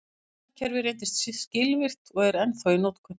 Þetta nafnakerfi reyndist skilvirkt og er ennþá í notkun.